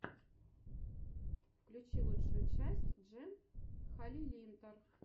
включи лучшую часть джен халилинтар